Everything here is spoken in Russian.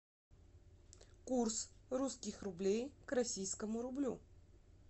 курс русских рублей к российскому рублю